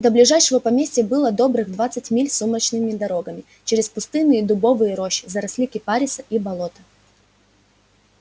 до ближайшего поместья было добрых двадцать миль сумрачными дорогами через пустынные дубовые рощи заросли кипариса и болота